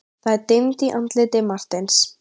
Það dimmdi í andliti Marteins.